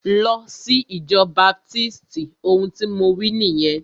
Lọ sí ìjọ baptisti! Ohun tí mo wí nìyẹn.